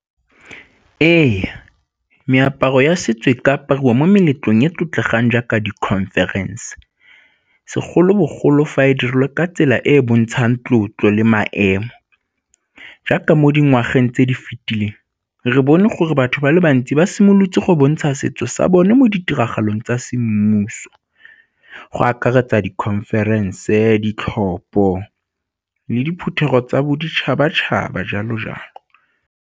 Ee, meaparo ya setso e ka apariwa mo meletlong ya tlotlegang jaaka di-conference segolobogolo fa e dirilwe ka tsela e e bontshang tlotlo le maemo. Jaaka mo dingwageng tse di fitileng re bone gore batho ba le bantsi ba simolotse go bontsha setso sa bone mo ditiragalong tsa semmuso, go akaretsa di-conference, ditlhopho le diphuthego tsa boditšhabatšhaba jalo jalo.